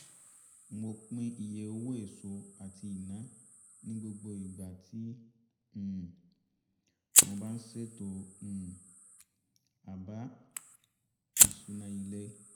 mo pín iye owó èso àti iná ní gbogbo ìgbà tí um mo bá ń ṣètò um àbá-ìṣúná ilé